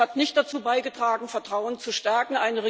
Das hat nicht dazu beigetragen, Vertrauen zu stärken.